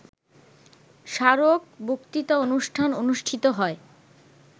স্মারক বক্তৃতানুষ্ঠান অনুষ্ঠিত হয়